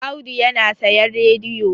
Audu yana sayan radiyo